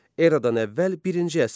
Eradan əvvəl birinci əsr.